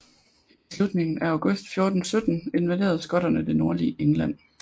I slutningen af august 1417 invaderede skotterne det nordlige England